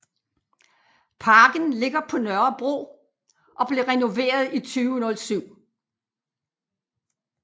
Parken ligger på Nørrebro og blev renoveret i 2007